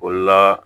O la